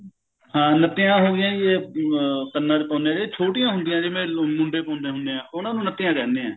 ਹਾਂ ਨੱਤੀਆਂ ਹੋਗੀਆਂ ਜੀ ਇਹ ਅਹ ਕੰਨਾਂ ਚ ਪਾਉਂਦੇ ਆ ਇਹ ਛੋਟੀਆਂ ਹੁੰਦੀਆਂ ਨੇ ਜਿਵੇਂ ਮੁੰਡੇ ਪਾਉਣੇ ਹੁਣੇ ਆ ਉਹਨਾ ਨੂੰ ਨੱਤੀਆਂ ਕਹਿੰਦੇ ਆ